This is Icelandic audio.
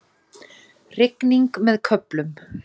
Rigning með köflum